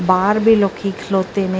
ਬਾਹਰ ਵੀ ਲੋਕੀ ਖਲੋਤੇ ਨੇ।